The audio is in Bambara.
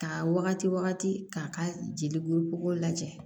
Ka wagati wagati k'a ka jelikuru bɔgɔ lajɛ